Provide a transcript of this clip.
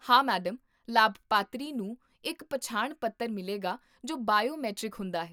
ਹਾਂ, ਮੈਡਮ! ਲਾਭਪਾਤਰੀ ਨੂੰ ਇੱਕ ਪਛਾਣ ਪੱਤਰ ਮਿਲੇਗਾ ਜੋ ਬਾਇਓਮੈਟ੍ਰਿਕ ਹੁੰਦਾ ਹੈ